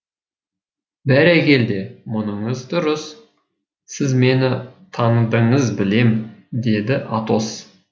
бәрекелде мұныңыз дұрыс сіз мені таныдыңыз білем деді атос